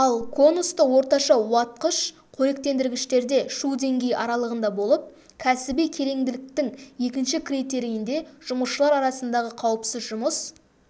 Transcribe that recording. ал конусты орташа уатқыш қоректендіргіштерде шу деңгейі аралығында болып кәсіби кереңділіктің екінші критерийінде жұмысшылар арасындағы қауіпсіз жұмыс